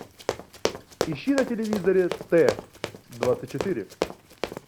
ищи на телевизоре т двадцать четыре